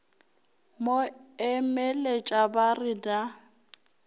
mo emeletša ba re na